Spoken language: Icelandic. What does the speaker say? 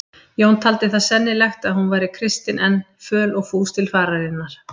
Jón taldi það sennilegt ef hún væri kristin enn, föl og fús til fararinnar.